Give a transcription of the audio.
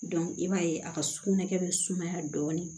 i b'a ye a ka sugunɛkɛ bɛ sumaya dɔɔni